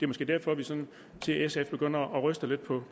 måske derfor vi sådan ser sf begynde at ryste lidt på